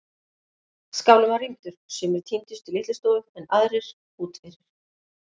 Skálinn var rýmdur, sumir tíndust í litlustofu en aðrir út fyrir.